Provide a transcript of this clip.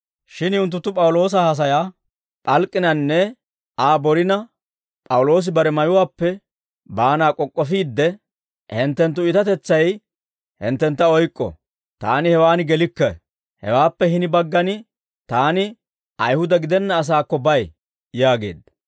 Shin unttunttu P'awuloosa haasayaa p'alk'k'inanne Aa borina, P'awuloosi bare mayuwaappe baanaa k'ok'k'ofiidde, «Hinttenttu iitatetsay hinttentta oyk'k'o; taani hewaan gelikke; hawaappe hini baggan taani Ayihuda gidenna asaakko bay» yaageedda.